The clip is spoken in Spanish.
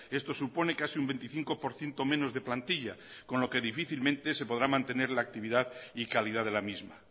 esto supone casi un veinticinco por ciento menos de plantilla con lo que difícilmente se podrá mantener la actividad y calidad de la misma